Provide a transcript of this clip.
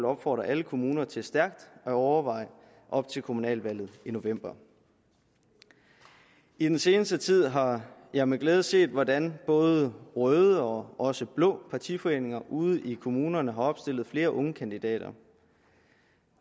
opfordrer alle kommuner til stærkt at overveje op til kommunalvalget i november i den seneste tid har jeg med glæde set hvordan både røde og også blå partiforeninger ude i kommunerne har opstillet flere unge kandidater